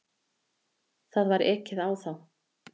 Það var ekið á þá.